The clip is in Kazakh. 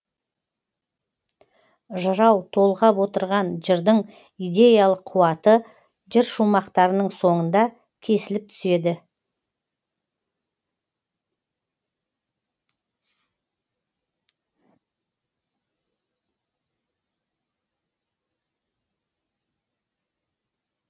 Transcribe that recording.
жырау толғап отырған жырдың идеялық қуаты жыр шумақтарының соңында кесіліп түседі